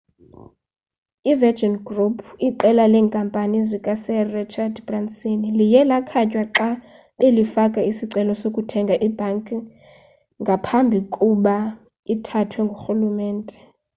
i-virgin group iqela leenkampani zika-sir rachard branson liye lakhatywa xa belifaka isicelo sokuthenga ibhanki ngaphambi kkuba ithathwe ngurhulumente